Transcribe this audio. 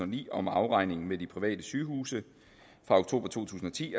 ni om afregning med de private sygehuse fra oktober to tusind og ti